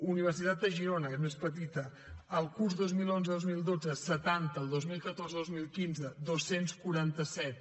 universitat de girona que és més petita el curs dos mil onze dos mil dotze setanta el dos mil catorze dos mil quinze dos cents i quaranta set